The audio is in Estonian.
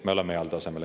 Me oleme heal tasemel.